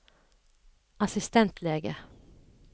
assistentlege